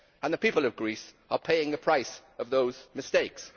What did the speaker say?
The people of Greece are paying the price of those mistakes.